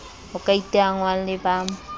ho ka iteangwang le ba